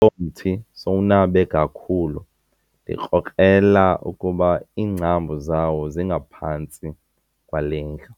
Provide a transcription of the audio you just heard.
Lo mthi sowunabe kakhulu ndikrokrela ukuba iingcambu zawo zingaphantsi kwale ndlu.